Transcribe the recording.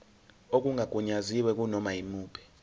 okungagunyaziwe kunoma yimuphi